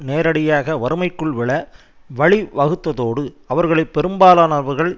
நேரடியாக வறுமைக்குள் விழ வழி வகுத்ததோடு அவர்களில் பெரும்பாலானவர்கள்